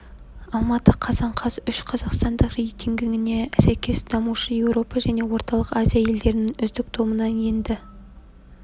алматы қазан қаз үш қазақстандық рейтингіне сәйкес дамушы еуропа және орталық азия елдерінің үздік тобына енді